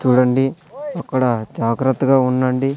చూడండి అక్కడ జాగ్రత్తగా ఉండండి.